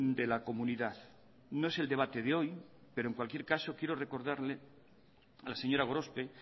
de la comunidad no es el debate de hoy pero en cualquier caso quiero recordarle a la señora gorospe